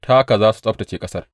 Ta haka za su tsabtacce ƙasar.’